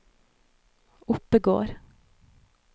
Oppegård